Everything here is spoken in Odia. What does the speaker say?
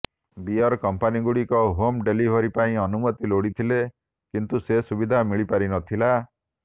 ବିୟର କମ୍ପାନୀଗୁଡିକ ହୋମ୍ ଡେଲିଭରୀ ପାଇଁ ଅନୁମତି ଲୋଡିଥିଲେ କିନ୍ତୁ ସେ ସୁବିଧା ମିଳିପାରି ନଥିଲା